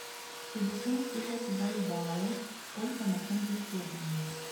пятьдесят тысяч бальбоа сколько на фунты стерлинга